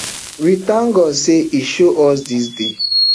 we tank god say e show us dis day